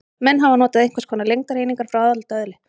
Menn hafa notað einhvers konar lengdareiningar frá alda öðli.